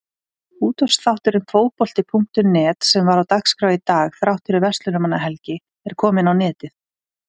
Útvarpsþátturinn Fótbolti.net sem var á dagskrá í dag þrátt fyrir Verslunarmannahelgi er kominn á netið.